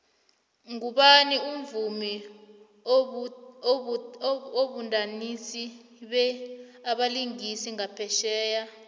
ngubani umvumi obumdansi be abelingisi ngaphetjheya